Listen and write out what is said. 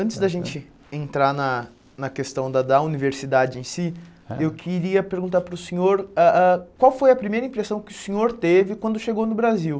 Antes da gente entrar na na questão da da universidade em si, eu queria perguntar para o senhor, ah ah qual foi a primeira impressão que o senhor teve quando chegou no Brasil?